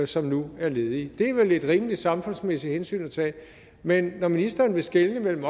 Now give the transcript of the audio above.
som nu er ledige det er vel et rimeligt samfundsmæssigt hensyn at tage men når ministeren vil skelne mellem